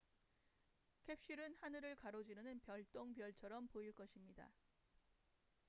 캡슐은 하늘을 가로지르는 별똥별처럼 보일 것입니다